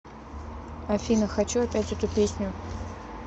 афина хочу опять эту песню